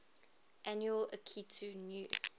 annual akitu new